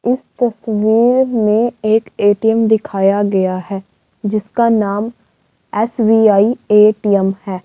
इस तस्वीर में एक ए_टी_एम दिखाया गया है जिसका नाम एस_बी_आई ए_टी_एम है।